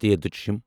تھ